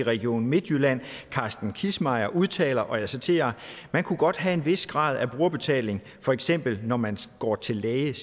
i region midtjylland carsten kissmeyer udtaler og jeg citerer at man kunne godt have en vis grad af brugerbetaling for eksempel når man går til læge